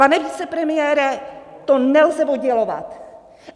Pane vicepremiére, to nelze oddělovat.